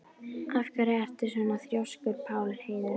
Af hverju ertu svona þrjóskur, Pálheiður?